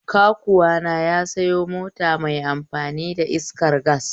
Kakuwana ya sayo mota mai amfani da iskar gas.